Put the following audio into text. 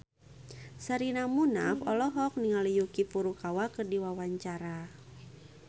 Sherina Munaf olohok ningali Yuki Furukawa keur diwawancara